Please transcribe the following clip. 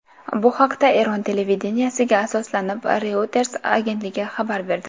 Bu haqda Eron televideniyesiga asoslanib, Reuters agentligi xabar berdi .